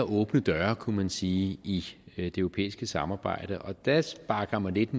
åbne døre kunne man sige i det europæiske samarbejde der sparker man lidt